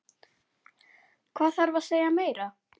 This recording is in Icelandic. Hvað þarf að segja meira?